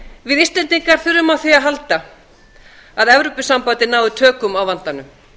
við íslendingar þurfum á því að halda að evrópusambandið nái tökum á vandanum